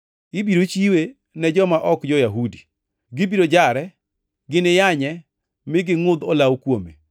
Ibiro chiwe ne joma ok jo-Yahudi. Gibiro jare, giniyanye, mi gingʼudh olawo kuome.